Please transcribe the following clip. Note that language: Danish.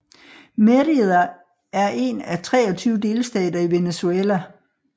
Mérida er en af de 23 delstater i Venezuela